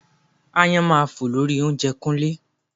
Aáyán máa fò lé orí oúnjẹ Kúnlé